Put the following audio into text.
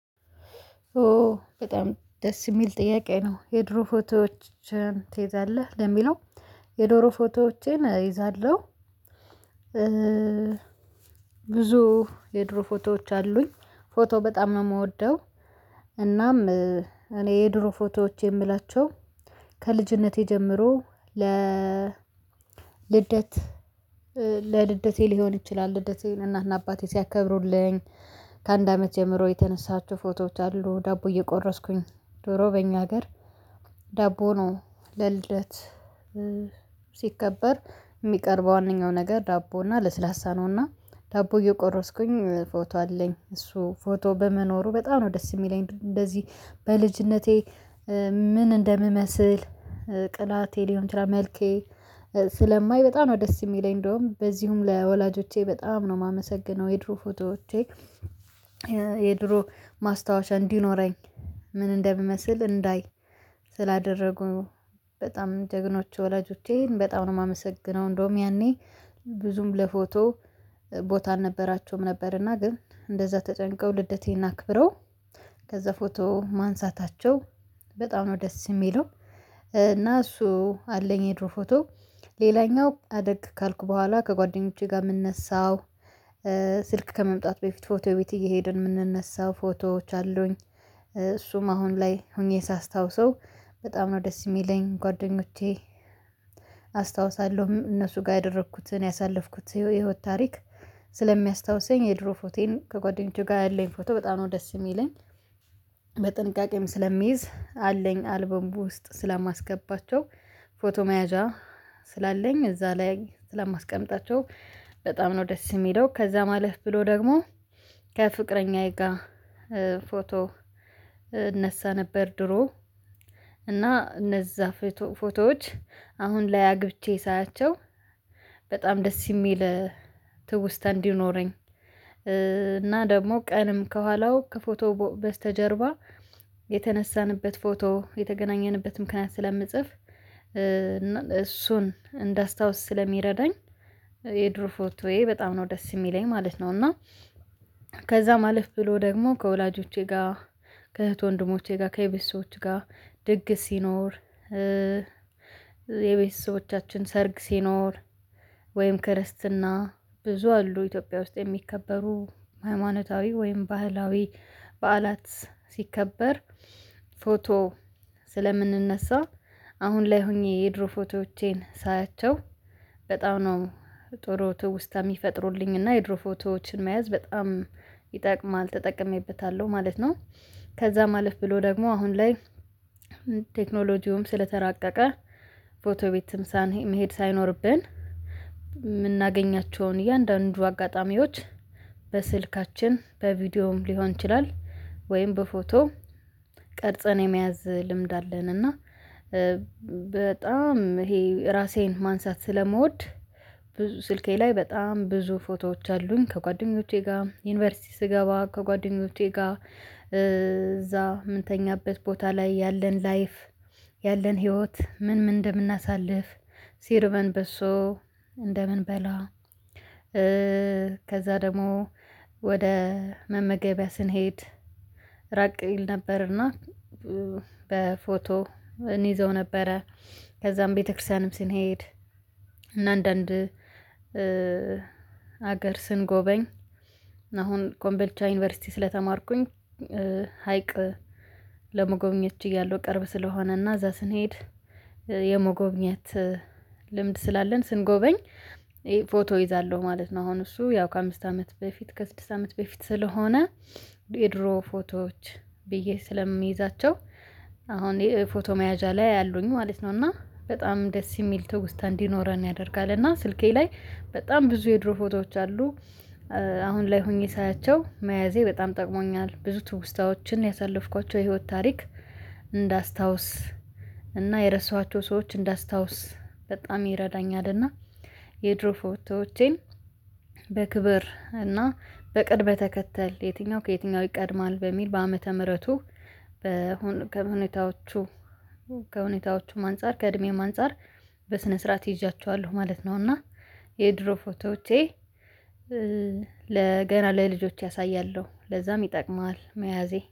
ኦ በጣም ደስ የሚል ጥያቄ ነው የድሮ ፎቶዎችን ትይዛለህ ለሚለው የዶሮ ፎቶዎቼን እይዛለሁ። ብዙ የድሮ ፎቶዎች አሉኝ ፎቶ በጣም ነው የምወደው። እናም እኔ የድሮ ፎቶዎች የምላቸው ከልጅነቴ ጀምሮ ለ ልደት ለልደቴ ሊሆን ይችላል ልደቴን እናትና አባቴ ሲያከብሩልኝ ከአንድ አመት ጀምሮ የተነሳችሁ ፎቶዎች አሉ። ዳቦ እየቆረስኩኝ ዶሮ በእኛ ሀገር ዳቦ ነው ለልደት ሲከበር የሚቀርበው ዋናው ነገር ዳቦ እና ለስላሳ ነው። እና ዳቦ እየቆረስኩኝ ፎቶ አለኝ እሱ ፎቶ በመኖሩ በጣም ነው ደስ የሚለኝ። እንደዚህ በልጅነቴ ምን እንደምመስል ቅላቴ ሊሆን ይችላል መልኬ ስለማይ በጣም ነው ደስ የሚለኝ። እንደውም በዚሁም ለወላጆቼ በጣም ነው የማመሰግነው። የድሮ ፎቶዎቼ የድሮ ማስታወሻ እንዲኖረኝ ምን እንደምመስል እንዳይ ስላደረጉ በጣም ጀግኖች ወላጆቼን በጣም ነው የማመሰግነው። እንደውም ያኔ ብዙም ለፎቶ ቦታ አልነበራቸውም ነበርና ግን እንደዛ ተጭንቀው ልደቴን አክብረው ከዛ ፎቶ ማንሳታቸው በጣም ነው ደስ የሚለው። እና እሱ አለኝ የድሮ ፎቶ ሌላኛው አደግ ካልኩ በኋላ ከጓደኞቼ ጋር የምነሳው ስልክ ከመምጣት በፊት ፎቶ ቤት እየሄድን የምንነሳው ፎቶዎች አሉኝ። እሱም አሁን ላይ ሆኜ ሳስታውሰው በጣም ነው ደስ የሚለኝ ጓደኞቼ አስታውሳለሁ እነሱ ጋር ያደረኩትን ያሳለፍኩት የህይወት ታሪክ ስለሚያስታውሰኝ የድሮ ፎቴን ከጓደኞቼ ጋር ያለኝ ፎቶ በጣም ነው ደስ የሚለኝ። በጥንቃቄም ስለሚይዝ አለኝ አልበሙ ውስጥ ስለማስገባቸው ፎቶ መያዣ ስላለኝ እዛ ላይ ስለማስቀምጣቸው በጣም ነው ደስ የሚለው። ከዛም አለፍ ብሎ ደግሞ ከፍቅረኛዬ ጋር ፎቶ እነሳ ነበር ድሮ እና እነዛ ፎቶዎች አሁን ላይ አግብቼ ሳያቸው በጣም ደስ የሚል። ትውስታ እንዲኖረኝ እና ደግሞ ቀንም ከኋላው ከፎቶ በስተጀርባ የተነሳንበት ፎቶ የተገናኘንበት ምክንያት ስለምጽፍ እና እሱን እንዳስታውስ ስለሚረዳኝ የድሮ ፎቶዬ በጣም ነው ደስ የሚለኝ ማለት ነው። እና ከዛ ማለፍ ብሎ ደግሞ ከወላጆቼ ጋር ከእህት ወንድሞቼ ጋር ከቤተሰቦች ጋር ድግ ሲኖር የቤተሰቦቻችን ሰርግ ሲኖር ወይም ክርስትና ብዙ አሉ ኢትዮጵያ ውስጥ የሚከበሩ ሃይማኖታዊ ወይም ባህላዊ በዓላት ሲከበር ፎቶ ስለምንነሳ አሁን ላይ ሆኜ የድሮ ፎቶዎቼን ሳያቸው። በጣም ነው ጥሩ ትውስታ የሚፈጥሩልኝ እና የድሮ ፎቶዎችን መያዝ በጣም ይጠቅማል ተጠቅሜበታለሁ ማለት ነው። ከዛ ማለፍ ብሎ ደግሞ አሁን ላይ ቴክኖሎጂውም ስለተራቀቀ ፎቶ ቤትም ሳን መሄድ ሳይኖርብን የምናገኛቸውን እያንዳንዱ አጋጣሚዎች በስልካችን በቪዲዮም ሊሆን ይችላል ወይም በፎቶ ቀርጸን የመያዝ ልምድ አለን። እና በጣም ይሄ ራሴን ማንሳት ስለመወድ ብዙ ስልኬ ላይ በጣም ብዙ ፎቶዎች አሉኝ። ከጓደኞቼ ጋር ዩኒቨርሲቲ ስገባ ከጓደኞቼ ጋር እዛ የምንተኛበት ቦታ ላይ ያለን ላይፍ ያለን ህይወት ምን ምን እንደምናሳልፍ ሲርቨን በሶ እንደምን በላ ከዛ ደግሞ ወደ መመገቢያ ስንሄድ ራቅ ይል ነበርና በፎቶ እንዘው ነበረ። ከዛም ቤተክርስቲያንም ስንሄድ እና አንዳንድ ሀገር ስንጎበኝ አሁን ኮምቤልቻ ዩኒቨርሲቲ ስለተማርኩኝ ሀይቅ ለመጎብኘት እያለሁ ቅርብ ስለሆነና እዛ ስንሄድ የመጎብኘት ልምድ ስላለን ስንጎበኝ ፎቶ ይዛለሁ ማለት ነው። አሁን እሱ ያው ከአምስት አመት በፊት ከስድስት አመት በፊት ስለሆነ የድሮ ፎቶዎች ብዬ ስለምይዛቸው አሁን ፎቶ መያዣ ላይ አሉኝ ማለት ነው። እና በጣም ደስ የሚል ትውስታ እንዲኖረን ያደርጋል እና ስልኬ ላይ በጣም ብዙ የድሮ ፎቶዎች አሉ። አሁን ላይ ሆኜ ሳያቸው መያዜ በጣም ጠቅሞኛል ብዙ ትውስታዎችን ያሳለፍኳቸው የህይወት ታሪክ እንዳስታውስ እና የረሳኋቸው ሰዎች እንዳስታውስ በጣም ይረዳኛል። እና የድሮ ፎቶዎቼን በክብር እና በቅድመ ተከተል የትኛው ከየትኛው ይቀድማል በሚል በአመተ ምህረቱ በሁኔታዎቹ ከሁኔታዎቹም አንፃር ከእድሜም አንፃር በስነ ስርዓት ይዣቸዋለሁ ማለት ነው። እና የድሮ ፎቶዎቼ ለ ገና ለልጆቼ አሳያለሁ ለዛም ይጠቅማል መያዜ